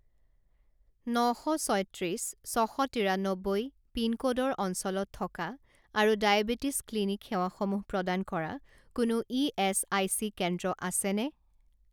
ন শ ছয়ত্ৰিছ ছ শ তিৰান্নব্বৈ পিনক'ডৰ অঞ্চলত থকা আৰু ডায়েবেটিছ ক্লিনিক সেৱাসমূহ প্ৰদান কৰা কোনো ইএচআইচি কেন্দ্ৰ আছেনে?